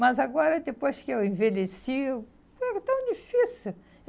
Mas agora, depois que eu envelheci eu, foi tão difícil.